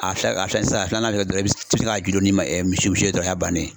A fiyɛ a fiyɛ sisan a filanan kɛ dɔrɔn i bɛ se ni misi ye dɔrɔn o y'a bannen ye.